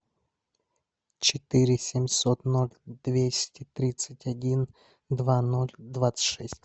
четыре семьсот ноль двести тридцать один два ноль двадцать шесть